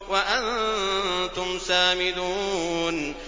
وَأَنتُمْ سَامِدُونَ